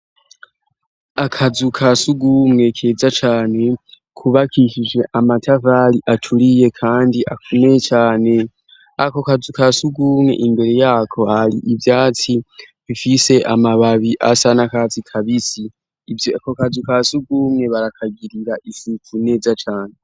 akazu ka sugumwe keza cyane kubakishije amatafari acuriye kandi akomeye cyane ako kazu kasugumwe imbere yako hari ibyatsi bifise amababi asa n'akatsi kabisi ibyo ako kazu kasugumwe barakagirira isuku neza cane